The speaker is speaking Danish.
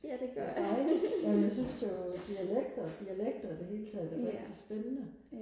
det er dejligt jamen jeg synes jo dialekter dialekter i det hele taget er rigtig spændende